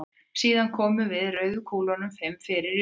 Síðan komum við rauðu kúlunum fimm fyrir í röðinni.